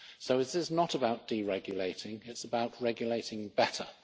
So it is not about deregulating it's about regulating better.